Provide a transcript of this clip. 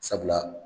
Sabula